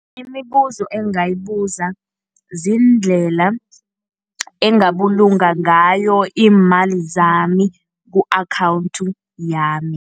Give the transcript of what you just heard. Imibuzo engingayibuza ziindlela engingabulunga ngayo iimali zami ku-akhawunthi yami.